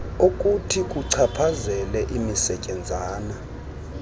okuthi kuchaphazele imisetyenzana